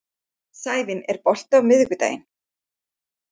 Sævin, er bolti á miðvikudaginn?